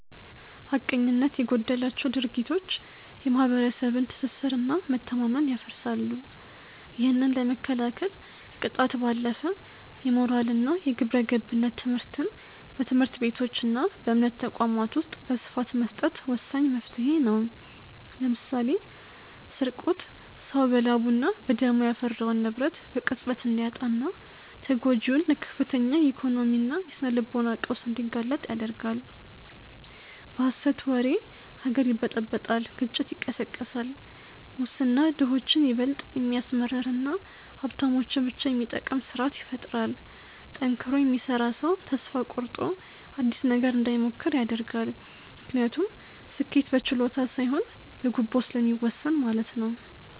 ሐቀኝነት የጎደላቸው ድርጊቶች የማኅበረሰብን ትስስርና መተማመን ያፈርሳሉ። ይህንን ለመከላከል ከቅጣት ባለፈ የሞራልና የግብረገብነት ትምህርትን በትምህርት ቤቶችና በእምነት ተቋማት ውስጥ በስፋት መስጠት ወሳኝ መፍትሔ ነው። ለምሳሌ ስርቆት ሰው በላቡና በደሙ ያፈራውን ንብረት በቅጽበት እንዲያጣና ተጎጂውን ለከፍተኛ የኢኮኖሚና የስነ-ልቦና ቀውስ እንዲጋለጥ ይዳርጋል። በሐሰት ወሬ ሀገር ይበጠበጣል ግጭት ይቀሰቀሳል። ሙስና ድሆችን ይበልጥ የሚያስመርርና ሀብታሞችን ብቻ የሚጠቅም ስርአት ይፈጥራል። ጠንክሮ የሚሰራ ሰው ተስፋ ቆርጦ አዲስ ነገር እንዳይሞክር ያደርጋል፤ ምክንያቱም ስኬት በችሎታ ሳይሆን በጉቦ ስለሚወሰን ማለት ነው።